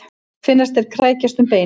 Finnast þeir krækjast um beinin.